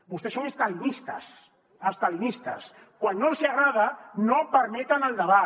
vostès són estalinistes estalinistes quan no els hi agrada no permeten el debat